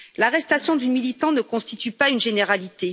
L'arrestation de militants ne constitue pas une généralité.